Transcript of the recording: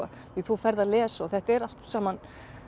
því þú ferð að lesa og þetta er allt saman